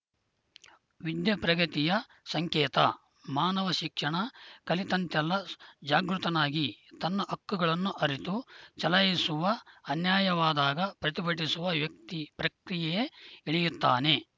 ವಿದ್ಯೆ ಪ್ರಗತಿಯ ಸಂಕೇತ ಮಾನವ ಶಿಕ್ಷಣ ಕಲಿತಂತೆಲ್ಲ ಜಾಗೃತನಾಗಿ ತನ್ನ ಹಕ್ಕುಗಳನ್ನು ಅರಿತು ಚಲಾಯಿಸುವ ಅನ್ಯಾಯವಾದಾಗ ಪ್ರತಿಭಟಿಸುವ ವ್ಯಕ್ತಿ ಪ್ರಕ್ರಿಯೆಗೆ ಇಳಿಯುತ್ತಾನೆ